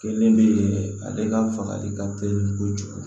Kelen bɛ ale ka fagali ka teli kojugu